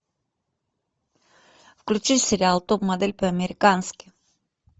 включи сериал топ модель по американски